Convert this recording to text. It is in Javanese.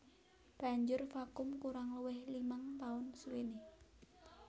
Banjur vakum kurang luwih limang taun suwené